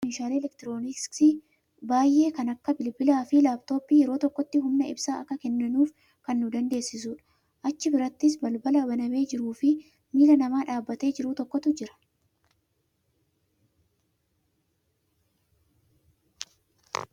Meeshaa elektirooniksii humna ibsaa meeshaalee elektirooniksii baay'ee kan akka bilbilaafi laaptooppii yeroo tokkotti humna ibsaa akka kenninuuf kan nu dandeessisudha. Achi birattis balbala banamee jiruufii miila nama dhaabatee jiru tokkootu jira.